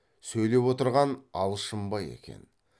сөйлеп отырған алшынбай екен